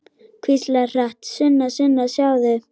Hvíslar hratt: Sunna, Sunna, sjáðu!